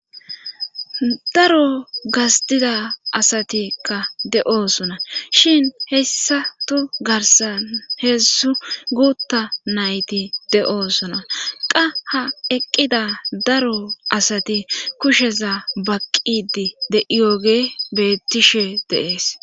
Daro gastida asatikka de'oosona shin hessato garsan heessu guutta nayti de'oosona qa ha eqqida daro asati kusheza baqqidi deiyooge bettishe de'ees.